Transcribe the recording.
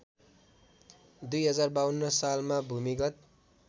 ०५२ सालमा भूमिगत